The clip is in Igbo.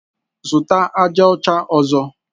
Zụta aja ọcha ọzọ!